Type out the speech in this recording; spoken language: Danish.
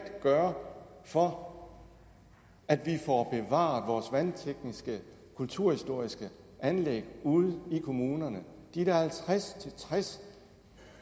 gøre for at vi får bevaret vores kulturhistoriske vandanlæg ude i kommunerne de der halvtreds til tres